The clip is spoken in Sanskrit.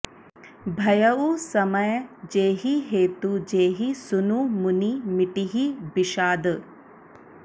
भयउ समय जेहि हेतु जेहि सुनु मुनि मिटिहि बिषाद